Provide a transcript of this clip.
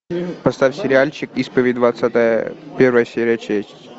поставь сериальчик исповедь двадцатая первая серия честь